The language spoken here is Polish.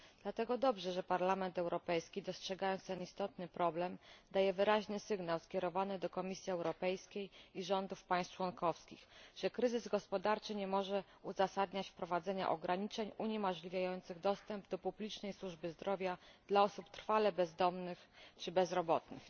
Dlatego dobrze, że Parlament Europejski dostrzega ten istotny problem, daje wyraźny sygnał skierowany do Komisji Europejskiej i rządów państw członkowskich, że kryzys gospodarczy nie może uzasadniać wprowadzenia ograniczeń uniemożliwiających dostęp do publicznej służby zdrowia dla osób trwale bezdomnych czy bezrobotnych.